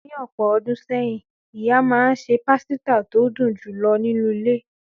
Ní ọ̀pọ̀ ọdún sẹ́yìn, ìyá máa ń se pasita tó dùn jù lọ nínú ilé.